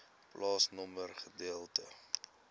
plaasnommer gedeelte